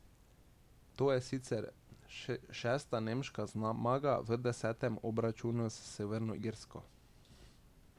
To je sicer šesta nemška zmaga v desetem obračunu s Severno Irsko.